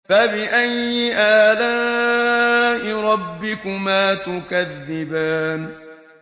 فَبِأَيِّ آلَاءِ رَبِّكُمَا تُكَذِّبَانِ